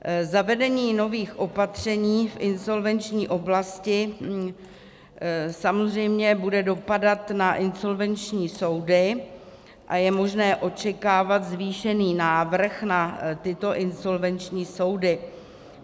Zavedení nových opatření v insolvenční oblasti samozřejmě bude dopadat na insolvenční soudy a je možné očekávat zvýšený návrh na tyto insolvenční soudy.